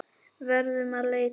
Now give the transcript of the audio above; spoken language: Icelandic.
Verðum að leita.